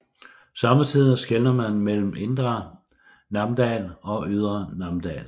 Sommetider skelner man mellem Indre Namdal og Ydre Namdal